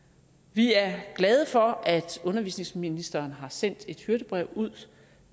vi er glade for at undervisningsministeren har sendt et hyrdebrev ud